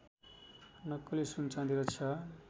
नक्कली सुनचाँदी रक्षा